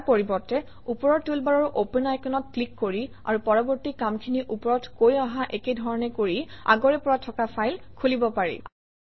ইয়াৰ পৰিৱৰ্তে ওপৰৰ টুলবাৰৰ অপেন আইকনত ক্লিক কৰি আৰু পৰৱৰ্তী কামখিনি ওপৰত কৈ অহা একে ধৰণে কৰি আগৰে পৰা থকা ফাইল খুলিব পাৰি